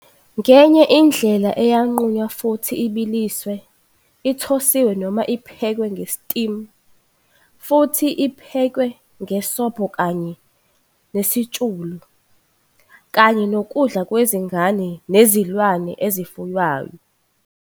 Ngenye indlela ingaqunywa futhi ibiliswe, ithosiwe noma iphekwe nge-steamed, futhi iphekwe ngesobho kanye nesitshulu, kanye nokudla kwezingane nezilwane ezifuywayo.